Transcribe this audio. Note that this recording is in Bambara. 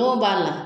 Don b'a la